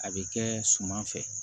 A bɛ kɛ suman fɛ